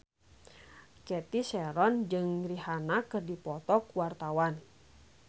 Cathy Sharon jeung Rihanna keur dipoto ku wartawan